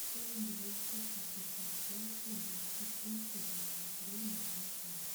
пять двести шестьдесят пять двести семь шестьдесят три два пять